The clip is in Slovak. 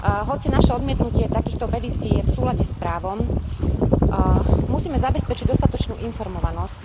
Hoci naše odmietnutie takýchto petícií je v súlade s právom, musíme zabezpečiť dostatočnú informovanosť